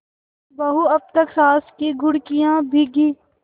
बहू अब तक सास की घुड़कियॉँ भीगी